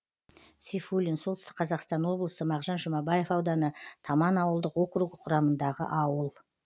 сейфуллин солтүстік қазақстан облысы мағжан жұмабаев ауданы таман ауылдық округі құрамындағы ауыл